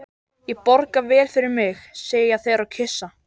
Ég borga vel fyrir mig, segja þeir og kyssa.